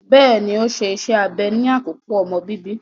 Bẹẹni, o ṣe ìṣe abẹ ni akoko omọ bíbí